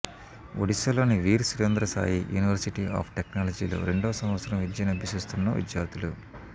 ఒడిశాలోని Veer Surendra Sai university of టెక్నాలజీలో రెండో సంవత్సరం విద్యనభ్యసిస్తున్న విద్యార్థులు